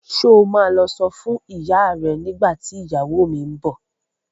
Ṣo ma lọ sọ fún ìyá ẹ nígbà tí ìyàwó mi ń bọ̀?